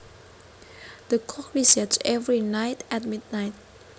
The clock resets every night at midnight